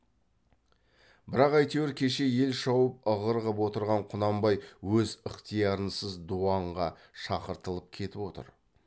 бірақ әйтеуір кеше ел шауып ығыр қып отырған құнанбай өз ықтиярынсыз дуанға шақыртылып кетіп отыр